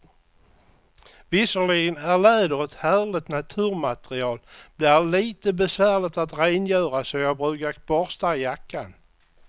Visserligen är läder ett härligt naturmaterial, men det är lite besvärligt att rengöra, så jag brukar borsta jackan.